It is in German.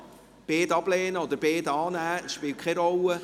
man kann beide ablehnen oder beide annehmen, dies spielt keine Rolle.